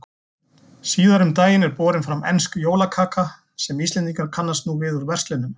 Síðar um daginn er borin fram ensk jólakaka sem Íslendingar kannast nú við úr verslunum.